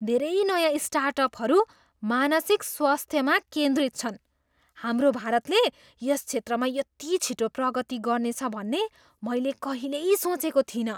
धेरै नयाँ स्टार्टअपहरू मानसिक स्वास्थ्यमा केन्द्रित छन्! हाम्रो भारतले यस क्षेत्रमा यति छिटो प्रगति गर्नेछ भन्ने मैले कहिल्यै सोचेको थिइनँ।